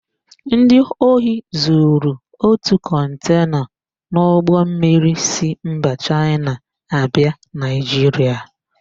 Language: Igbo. Ndị ohi zuru ótù kọntena n'ụgbọmmiri si mba Chaịna abịa Naịjiria.